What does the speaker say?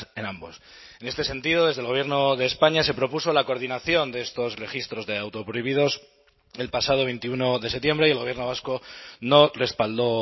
en ambos en este sentido desde el gobierno de españa se propuso la coordinación de estos registros de autoprohibidos el pasado veintiuno de septiembre y el gobierno vasco no respaldó